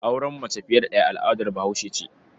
Auren mace fiye da ɗaya al'adar Bahaushe ce.